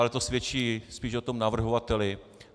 Ale to svědčí spíš o tom navrhovateli.